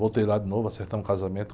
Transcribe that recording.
Voltei lá de novo, acertamos o casamento.